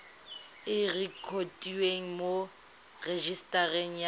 e rekotiwe mo rejisetareng ya